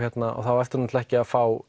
þá ertu ekki að fá